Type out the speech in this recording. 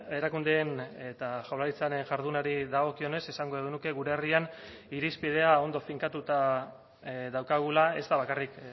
erakundeen eta jaurlaritzaren jardunari dagokionez esango genuke gure herrian irizpidea ondo finkatuta daukagula ez da bakarrik